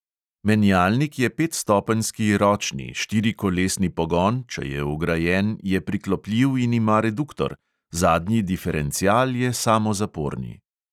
Menjalnik je petstopenjski ročni, štirikolesni pogon (če je vgrajen) je priklopljiv in ima reduktor, zadnji diferencial je samozaporni.